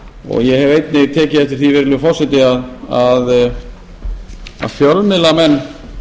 og ég hef einnig tekið eftir því virðulegi forseti að fjölmiðlamenn